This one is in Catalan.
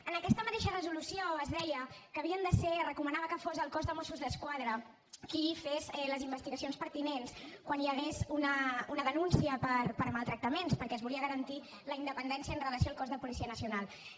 en aquesta mateixa resolució es deia que havia de ser es recomanava que fos el cos de mossos d’esquadra qui fes les investigacions pertinents quan hi hagués una denúncia per maltractaments perquè es volia garantir la independència amb relació al cos nacional de policia